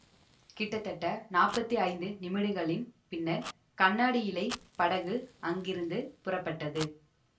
கிட்டத்தட்ட நாப்பத்தி ஐந்து நிமிடங்களின் பின்னர் கண்ணாடியிழைப் படகு அங்கிருந்து புறப்பட்டது